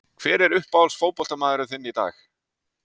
Hver er uppáhalds fótboltamaðurinn þinn í dag?